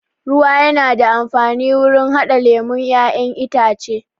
Ruwa yana da amfani wurin haɗa lemon ƴaƴen itace